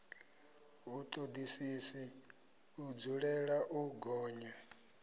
vhutodisisi i dzulela u gonya